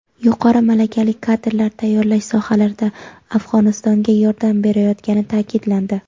yuqori malakali kadrlar tayyorlash sohalarida Afg‘onistonga yordam berayotgani ta’kidlandi.